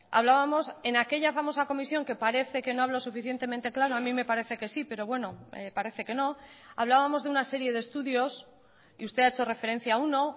hablábamos en aquella famosa comisión que parece que no hablo suficientemente claro a mí me parece que sí pero bueno parece que no hablábamos de una serie de estudios y usted ha hecho referencia a uno